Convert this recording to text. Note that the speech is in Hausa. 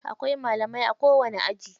Akwai malami a kowani aji.